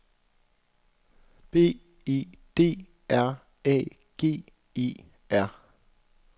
B E D R A G E R